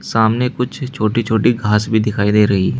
सामने कुछ छोटी छोटी घास भी दिखाई दे रही है।